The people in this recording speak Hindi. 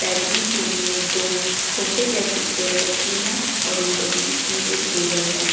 बैठने के लिए दो सोफे जैसी चेयर रखी हैं और उनके बीच में एक टेबल है।